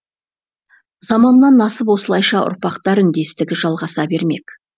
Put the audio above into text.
заманнан асып осылайша ұрпақтар үндестігі жалғаса бермек